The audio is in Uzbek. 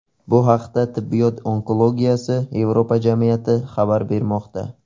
Bu haqda Tibbiyot onkologiyasi Yevropa jamiyati xabar bermoqda .